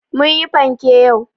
Mun yi panke yau.